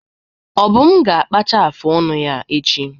Obum ga-akpacha afụ ọnụ ya echi.